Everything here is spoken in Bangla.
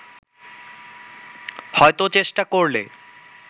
হয়তো চেষ্টা করলে